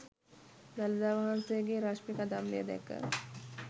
දළදා වහන්සේගේ රශ්මි කදම්බය දැක